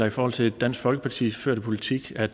i forhold til dansk folkepartis førte politik der